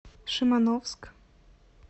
шимановск